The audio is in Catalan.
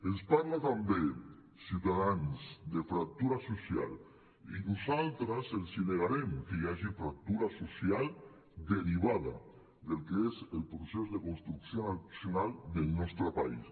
ens parla també ciutadans de fractura social i nosaltres els negarem que hi hagi fractura social derivada del que és el procés de construcció nacional del nostre país